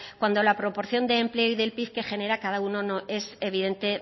cuando la proporción de empleo y del pib que genera cada uno no es evidente